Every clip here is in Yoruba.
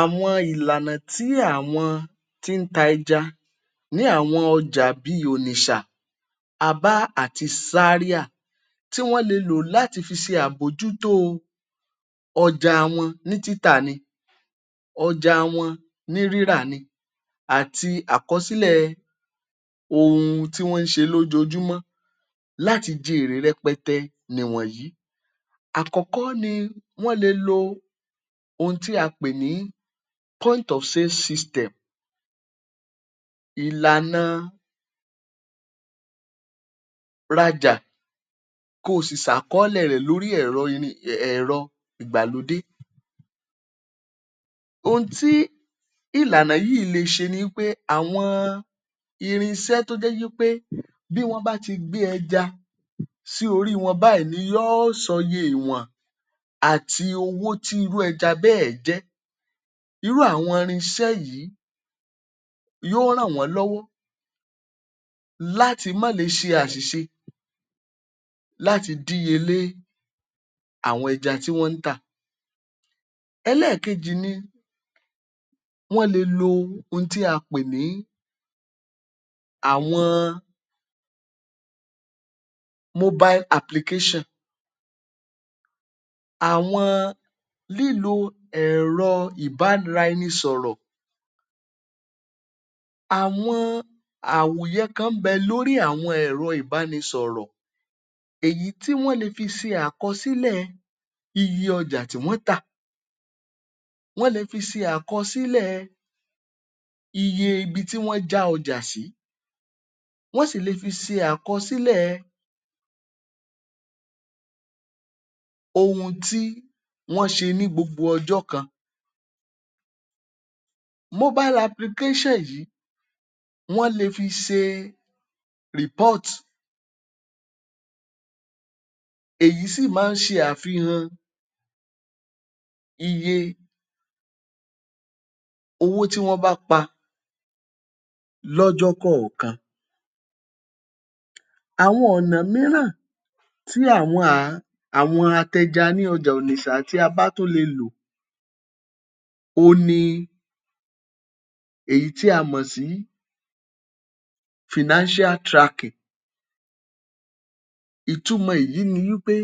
Àwọn ìlànà tí àwọn tí ń ta ẹja ní àwọn ọjà bíi Onisha, Abá, àti Zaria tí wọ́n le lò láti fi ṣe àbójútó ọjà wọn ní títà ni, ọjà wọn ní rírà ni, àti àkọsílẹ̀ ohun tí wọ́n ń ṣe lójoojumọ́ láti jẹ èrè rẹpẹtẹ ni ìwọ̀nyìí. Àkọ́kọ́ ni wọ́n le lo ohun tí a pè ní Point of Sales System, ìlàna rajà kó o sì sàkọ́ọlẹ̀ rẹ̀ um lórí ẹ̀rọ ìgbàlódé. Ohun tí ìlànà yìí le ṣe ni wí pé àwọn irinṣẹ́ tó jẹ́ wí pé bí wọ́n bá ti gbé ẹjà sí orí wọn báyìí ni yóò sọ iye ìwọ̀n àti owó tí irú ẹja bẹ́ẹ̀ jẹ́. Irú àwọn irinṣẹ́ yìí, yóó ràn wọ́n lọ́wọ́ láti má le ṣe àṣìṣe láti díyelé àwọn ẹja tí wọ́n ń tà. Ẹlẹ́ẹ̀kejì ni, wọ́n le lo ohun tí a pè ní àwọn Mobile Application. Àwọn, lílo ẹ̀rọ ìbára-ẹni-sọ̀rọ̀, àwọn àmùyẹ kan ń bẹ lórí àwọn ẹ̀rọ ìbánisọ̀rọ̀, èyí tí wọ́n le fi ṣe àkọsílẹ̀ iye ọjà tí wọ́n tà, wọ́n le fi ṣe àkọsílẹ̀ iye ibi tí wọ́n já ọjà sí, wọ́n sì lè fi ṣe àkọsílẹ̀ ohun tí wọ́n ṣe ní gbogbo ọjọ́ kan. Mobile Application yìí, wọ́n le fi ṣe report, èyí sì máa ń ṣe àfihàn iye owó tí wọ́n bá pa lọ́jọ́ kọ̀ọ̀kan. Àwọn ọ̀nà mìíràn tí àwọn um àwọn apẹja ní ọjà Onisha àti Abá tún lè lo, òhun ni èyí tí a mọ̀ sí Financial Tracking. Ìtumọ̀ èyí ni wí pé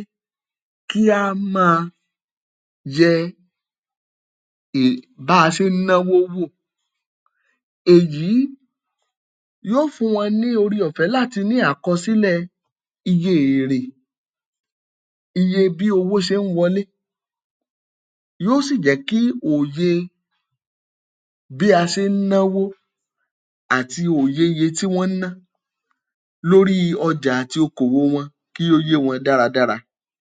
kí á máa yẹ um bí a ṣe ń náwó wò. Èyí yóò fún wọn ní oore-ọ̀fẹ́ láti ní àkọsílẹ̀ iye èrè, iye bí owó ṣe ń wọlé, yóò sì jẹ́ kí òye bí a ṣe ń náwó àti òye iye tí wọ́n ń ná lórí ọjà àti okòwò wọn kí ó yé wọn dáradára.